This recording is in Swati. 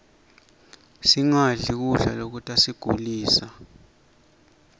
singadli kudla lokutasigulisa